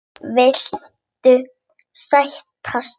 Vil ekkert sætt núna.